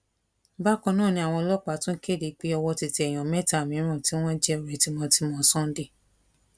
bákan náà ni àwọn ọlọpàá tún kéde pé owó ti tẹ èèyàn mẹta mìíràn tí wọn jẹ ọrẹ tímọtímọ sunday